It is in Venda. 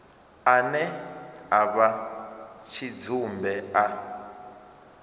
ane a vha tshidzumbe a